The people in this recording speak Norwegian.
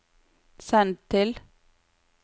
send til